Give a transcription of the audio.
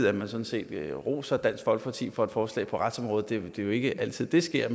at man sådan set roser dansk folkeparti for et forslag på retsområdet det er jo ikke altid det sker